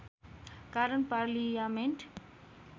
कारण पार्लियामेन्ट